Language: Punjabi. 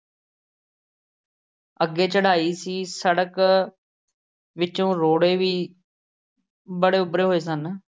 ਅੱਗੇ ਚੜਾਈ ਸੀ। ਸੜਕ ਵਿੱਚੋਂ ਰੋੜ੍ਹੇ ਵੀ ਬੜੇ ਉੱਭਰੇ ਹੋਏ ਸਨ।